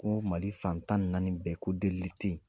Ko Mali fantan naani bɛɛ ko delili tɛ yen.